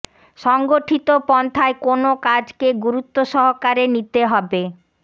সংগঠিত পন্থায় কোন কাজকে গুরুত্ব সহকারে নিতে হবে